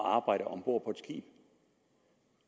arbejde om bord på et skib